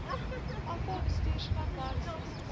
afal bestuursplan werksessies